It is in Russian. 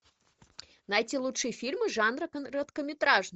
найти лучшие фильмы жанра короткометражный